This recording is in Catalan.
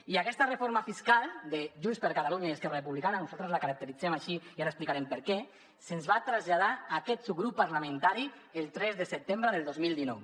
i aquesta reforma fiscal de junts per catalunya i esquerra republicana nosaltres la caracteritzem així i ara explicarem per què se’ns va traslladar a aquest subgrup parlamentari el tres de setembre del dos mil dinou